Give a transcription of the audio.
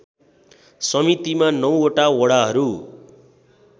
समितिमा ९वटा वडाहरू